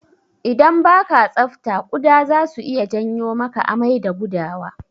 Idan baka tsafta kuɗa zasu iya janyo maka amai da gudawa.